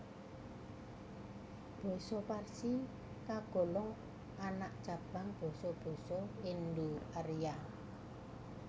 Basa Parsi kagolong anak cabang basa basa Indo Arya